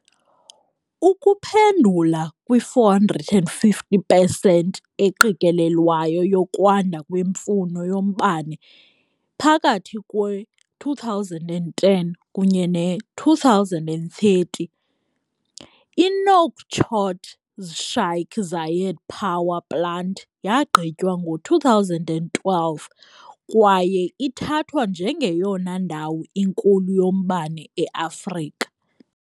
Ukuphendula kwi-450 pesenti eqikelelwayo yokwanda kwemfuno yombane phakathi kwe-2010 kunye ne-2030, i-Nouakchott's Sheikh Zayed power plant yagqitywa ngo-2012 kwaye ithathwa njengeyona ndawo inkulu yombane e-Afrika.